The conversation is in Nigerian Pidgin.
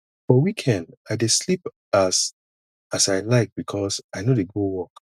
for weekend i dey sleep as as i like because i no dey go work